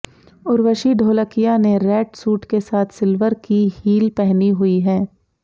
उर्वशी ढोलकिया ने red suit के साथ सिल्वर की हील पहनी हुई हैं